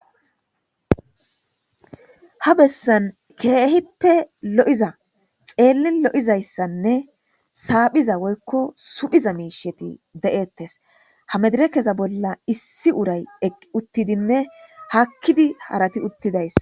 Ha bessan keehippe lo7iza xeelin lo7izayssanne saaphiza woykko suphiza miisheti de7ettes ha medire keza bolla issi uray eqi uttidinne hakkidi harati uttidayssa